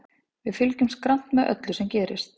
Við fylgjumst grannt með öllu sem gerist.